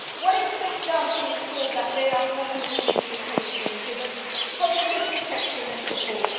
What is being done to ensure that they are permanently relocated and given positive protection and support?